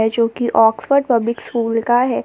जो कि Oxford public school का है।